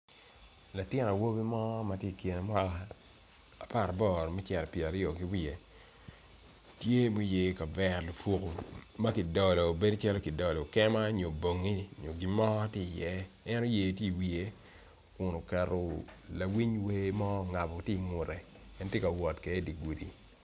Latin awobi mo matye i kine mwaka aparaboro me cito pyera aryo kiwiye tye ma oyeo kavera lupuko makidolo bedo calo kidolo kema nyo bongi nyo gimo tye i ye en oyeo tye i wiye kun oketo lawiny wer mo ongabo tye i wiye en tye kawot kwede idigudi.